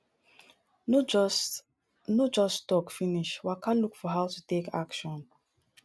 no just no just talk finish waka look for how to take action